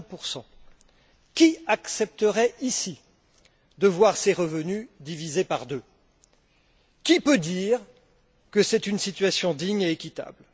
50 Qui accepterait ici de voir ses revenus divisés par deux? Qui peut dire que c'est une situation digne et équitable?